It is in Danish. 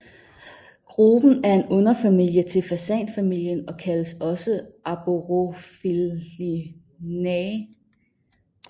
Gruppen er en underfamilie til fasanfamilien og kaldes også Arborophilinae